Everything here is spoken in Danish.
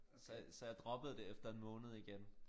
Så så jeg droppede det efter en måned igen